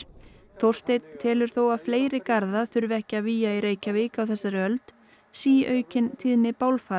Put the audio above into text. Þórsteinn telur þó að fleiri garða þurfi ekki að vígja í Reykjavík á þessari öld síaukin tíðni